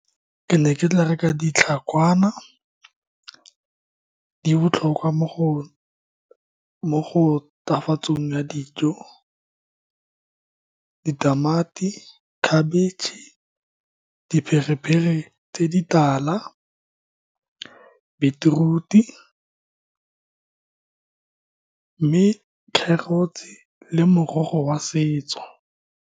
Ke ne ke tla reka ditlhakwana, di botlhokwa mo go, mo go tafatsong ya dijo, ditamati, khabetšhe, diperepere tse di tala, beetroot-e, mme kgerotse le morogo wa setso.